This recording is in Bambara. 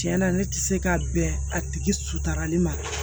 Tiɲɛna ne tɛ se ka bɛn a tigi suturali ma